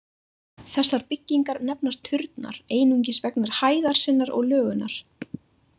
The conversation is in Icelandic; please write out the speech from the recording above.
Þessar byggingar nefnast turnar einungis vegna hæðar sinnar og lögunar.